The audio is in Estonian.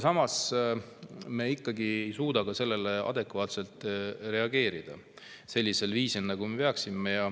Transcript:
Samas ei suuda me ikkagi reageerida sellele adekvaatselt ja sellisel viisil, nagu me peaksime.